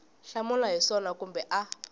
hlamula hi swona kumbe a